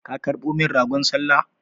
Ka karɓo min ragon sallah?